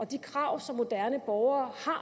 de krav som moderne borgere